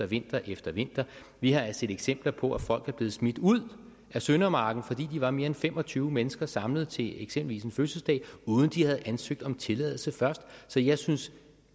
vinter efter vinter vi har set eksempler på at folk er blevet smidt ud af søndermarken fordi de var mere end fem og tyve mennesker samlet til eksempelvis en fødselsdag uden de havde ansøgt om tilladelse først så jeg synes